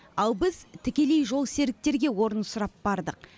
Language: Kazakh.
ал біз тікелей жолсеріктерге орын сұрап бардық